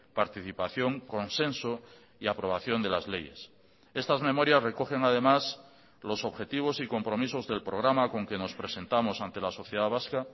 participación consenso y aprobación de las leyes estas memorias recogen además los objetivos y compromisos del programa con que nos presentamos ante la sociedad vasca